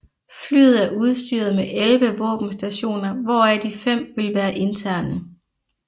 Flyet er udstyret med 11 våbenstationer hvoraf de fem vil være interne